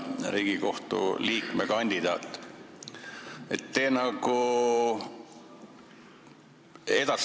Riigikohtu liikme kandidaat!